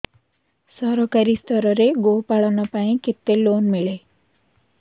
ସରକାରୀ ସ୍ତରରେ ଗୋ ପାଳନ ପାଇଁ କେତେ ଲୋନ୍ ମିଳେ